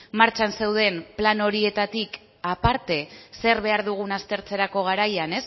martxan zeuden plan horietatik aparte zer behar dugun aztertzerako garaian